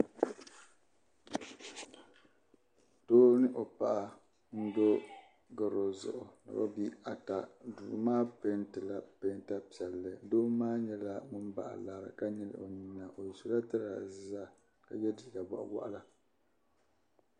Doo ni o paɣa n-do gɔro zuɣu ni bɛ bihi ata duu maa peentila peenta piɛlli doo maa nyɛla ŋum bahi lari ka nyili o nyina o sɔla tiraaza ka ye liiga bɔɣiwaɣila.